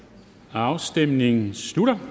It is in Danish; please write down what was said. afstemningen slutter